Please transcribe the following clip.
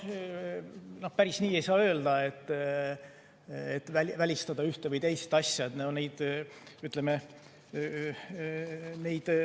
No päris nii ei saa öelda, et üks või teine asi on välistatud.